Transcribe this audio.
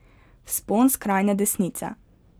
Vzpon skrajne desnice.